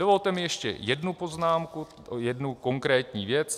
Dovolte mi ještě jednu poznámku, jednu konkrétní věc.